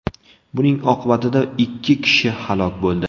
Buning oqibatida ikki kishi halok bo‘ldi.